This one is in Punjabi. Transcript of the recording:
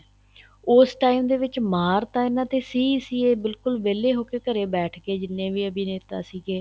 ਉਸ time ਦੇ ਵਿੱਚ ਮਾਰ ਤਾਂ ਇਹਨਾ ਤੇ ਸੀ ਸੀ ਇਹ ਬਿਲਕੁਲ ਵਹਿਲੇ ਹੋਕੇ ਘਰੇ ਬੈਠਗੇ ਜਿਹਨੇ ਵੀ ਅਭਿਨੇਤਾ ਸੀਗੇ